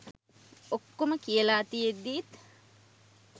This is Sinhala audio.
ඔක්කොම කියල තියෙද්දිත්